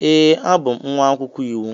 Ee, abụ m nwa akwụkwọ iwu.